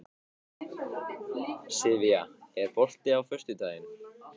Sivía, er bolti á föstudaginn?